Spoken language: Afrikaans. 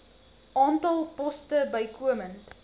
aantal poste bykomend